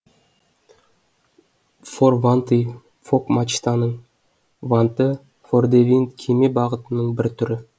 фор ванты фок мачтаның ванты фордевинд кеме бағытының бір түрі